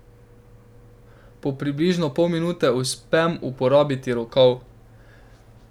Po približno pol minute uspem uporabiti rokav.